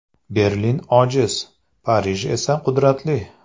Berlin ojiz, Parij esa qudratli.